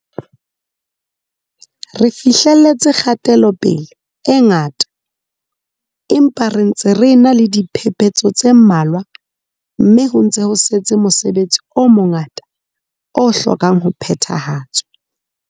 Re fihleletse kgatelope-le e ngata, empa re ntse re ena le diphepetso tse mmalwa mme ho ntse ho setse mosebetsi o mongata o hlokang ho phethahatswa.